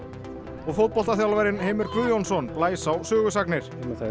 og Heimir Guðjónsson blæs á sögusagnir